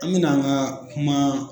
An mɛna an ka kuma